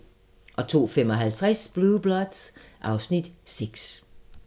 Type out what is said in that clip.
02:55: Blue Bloods (Afs. 6)